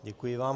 Děkuji vám.